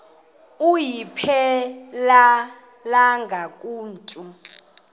ayiphelelanga ku mntu